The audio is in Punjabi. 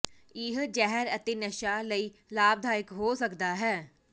ਇਹ ਜ਼ਹਿਰ ਅਤੇ ਨਸ਼ਾ ਲਈ ਲਾਭਦਾਇਕ ਹੋ ਸਕਦਾ ਹੈ